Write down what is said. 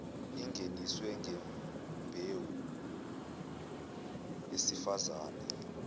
ingeniswe ngembewu yesifazane